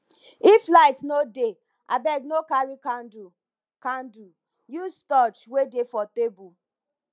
if light no dey abeg no carry candle candle use torch wey dey for table